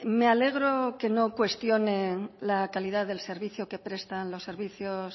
me alegro que no cuestione la calidad del servicio que prestan los servicios